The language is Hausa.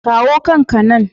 Kawo kan ka nan!